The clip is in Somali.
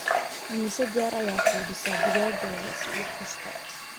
imise jeer ayaa quudisaa digaaggaaga isbuuc kasta